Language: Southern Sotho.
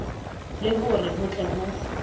le hore ho tle ho